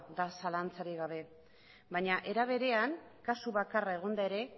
da zalantzarik gabe baina aldi berean kasu bakarra egonda ere